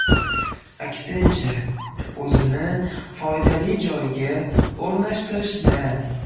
Aksincha, o‘zini foydali joyga o‘rnashtirishda.